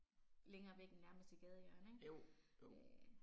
Længere væk end nærmeste gadehjørne ik øh